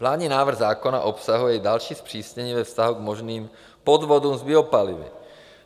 Vládní návrh zákona obsahuje i další zpřísnění ve vztahu k možným podvodům s biopalivy.